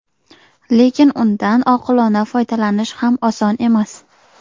lekin undan oqilona foydalanish ham oson emas.